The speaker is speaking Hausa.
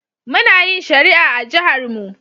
Muna yin shari'a a jiharmu.